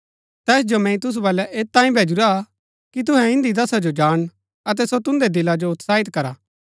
तैस जो मैंई तुसु बल्लै ऐत तांई भेजुरा कि तुहै इन्दी दशा जो जाणन अतै सो तुन्दै दिला जो उत्साहित करा